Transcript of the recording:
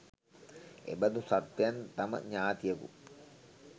එබඳු සත්වයන් තම ඥාතියකු